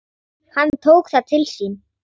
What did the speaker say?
Hann tók það til sín